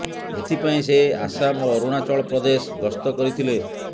ଏଥିପାଇଁ ସେ ଆସାମ ଓ ଅରୁଣାଚଳ ପ୍ରଦେଶ ଗସ୍ତ କରିଥିଲେ